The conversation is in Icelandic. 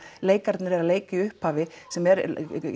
leikararnir eru að leika þarna í upphafi sem er